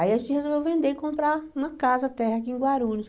Aí a gente resolveu vender e comprar uma casa térrea aqui em Guarulhos.